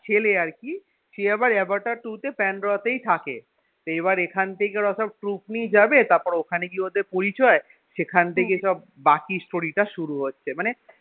ছেলে আরকি সে আবার আভাটার two তে প্যান্ডোরা তেই থাকে তো এবার এখান থেকে এরা সব troup নিয়ে যাবে তারপর ওখানে গিয়ে ওদের পরিচয় সেখান থেকে সব বাকি story টা শুরু হচ্ছে মানে